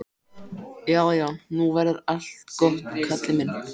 Já, já, nú verður allt gott, Kalli minn.